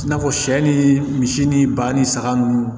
I n'a fɔ sɛ ni misi ni baga ni saga ninnu